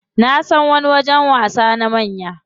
Nasan wani wajen wasa na manya.